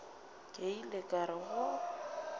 ke ile ka re go